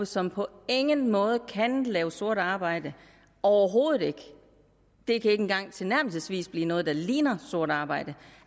som på ingen måde kan lave sort arbejde overhovedet ikke det kan ikke engang tilnærmelsesvis blive noget der ligner sort arbejde